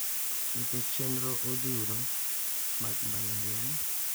Nikech chenro odhuro mag mbalariany,